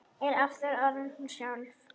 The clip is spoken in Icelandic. Er aftur orðin hún sjálf.